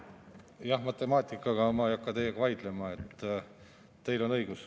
Jah, matemaatikaga ma ei hakka teiega vaidlema, teil on õigus.